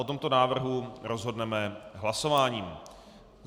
O tomto návrhu rozhodneme hlasováním.